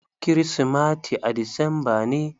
Kirismati a disamba ne.